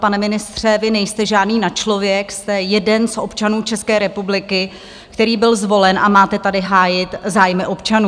Pane ministře, vy nejste žádný nadčlověk, jste jeden z občanů České republiky, který byl zvolen a máte tady hájit zájmy občanů.